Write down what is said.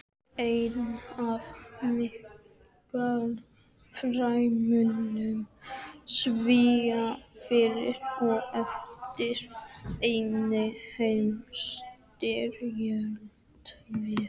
Einn af menningarfrömuðum Svía fyrir og eftir seinni heimsstyrjöld var